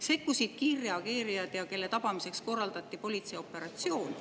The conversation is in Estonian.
Sekkusid kiirreageerijad ja tema tabamiseks korraldati politseioperatsioon.